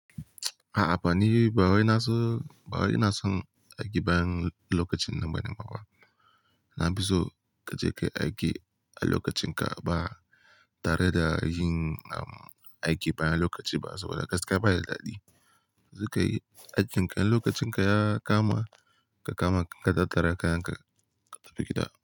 A'a bani, bawai na san, bawai ina san aikin bayan lokacin nan bani bawa. Na fiso ka je ka yi aiki a lokacin ka ba tare da yin aiki bayan lokaci ba saboda gaskiya baya da dadi. Sukai aikin ka lokacin ka ya kama ka kama ka tattara kayan ka ka tafi gida.